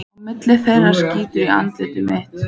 Á milli þeirra skín í andlit mitt.